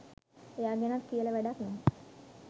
එයා ගැනත් කියලා වැඩක් නැහැ